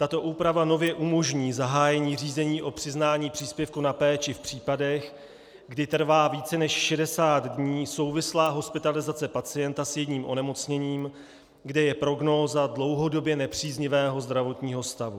Tato úprava nově umožní zahájení řízení o přiznání příspěvku na péči v případech, kdy trvá více než 60 dní souvislá hospitalizace pacienta s jedním onemocněním, kde je prognóza dlouhodobě nepříznivého zdravotního stavu.